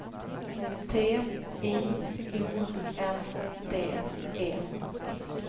T I O N D E